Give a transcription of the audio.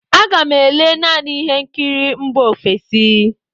Aga m ele naanị ihe nkiri mba ofesi.